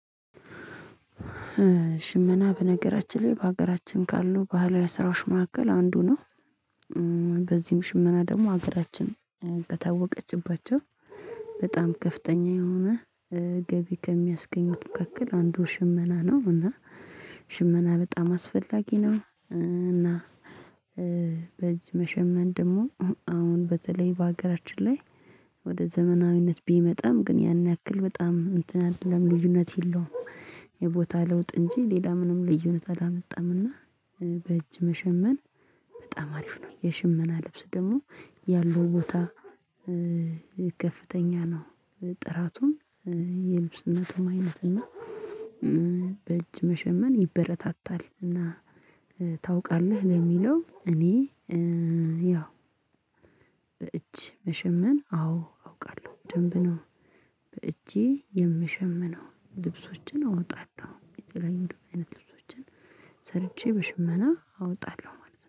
ሽመና በነገራችን ላይ በሀገራችን ካሉ ባህላዊ ስራዎች መካከል አንዱ ነው። በዚህም ሽመና ደግሞ ሀገራችን ከታወቀችባቸው በጣም ከፍተኛ የሆነ ገቢ ከሚያስገኙት መካከል አንድ ሽመና ነው። እና ሽመና በጣም አስፈላጊ ነው። እና በእጅ መሸመን ደግሞ አሁን በተለይ በሀገራችን ላይ ወደ ዘመናዊነት ቢመጣም ግን ያን ያክል በጣም እንትን አይደለም ልዩነት የለውም። የቦታ ለውጥ እንጂ ሌላ ምንም ልዩነት አላመጣምና። በእጅ መሸመን በጣም አሪፍ ነው። የሽመና ልብስ ደግሞ ያለው ቦታ ከፍተኛ ነው። ጥራቱም የልብስነቱም አይነት እና በእጅ መሸመን ይበረታታል። እና ታውቃለህ? ለሚለው እኔ ያው በእጅ መሸመን አዎ አውቃለሁ ደንብ ነው። በእጄ የምሸመነው ልብሶችን አወጣለሁ። አይነት ልብሶችን ሰርቼ በሽመና አወጣለሁ ማለት ነው